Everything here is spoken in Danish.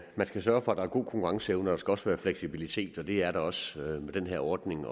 at man skal sørge for at der er god konkurrenceevne og der skal også være fleksibilitet og det er der også med den her ordning